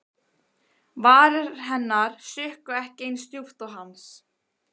Varir hennar sukku ekki eins djúpt og hans.